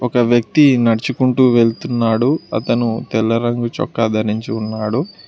ఒక వ్యక్తి నడుచుకుంటూ వెళ్తున్నాడు అతను తెల్ల రంగు చొక్క ధరించి ఉన్నాడు.